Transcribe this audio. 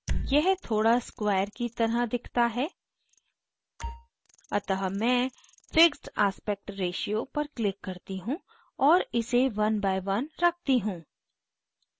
यह थोड़ा square की तरह दिखता है अतः मैं fixed aspect ratio पर click करती हूँ और इसे 1 by 1 रखती हूँ